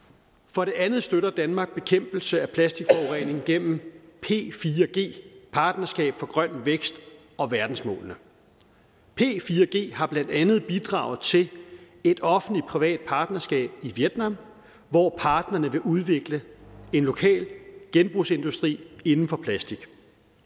for det andet støtter danmark bekæmpelse af plastikforurening gennem p4g partnerskab for grøn vækst og verdensmålene p4g har blandt andet bidraget til et offentlig privat partnerskab i vietnam hvor parterne vil udvikle en lokal genbrugsindustri inden for plastik